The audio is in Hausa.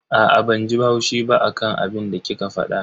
Aa, banji haushi ba akan abinda kika fada.